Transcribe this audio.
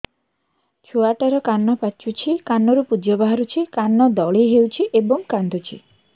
ଛୁଆ ଟା ର କାନ ପାଚୁଛି କାନରୁ ପୂଜ ବାହାରୁଛି କାନ ଦଳି ହେଉଛି ଏବଂ କାନ୍ଦୁଚି